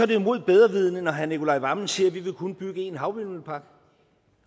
det jo imod bedre vidende når herre nicolai wammen siger at vi kun vil bygge én havvindmøllepark